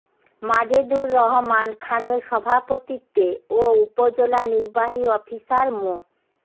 মাজেদুর রহমান খানের সভাপতিত্বে ও উপজেলা নিবার্হী অফিসার মো